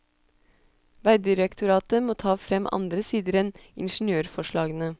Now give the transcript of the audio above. Vegdirektoratet må ta frem andre sider enn ingeniørforslagene.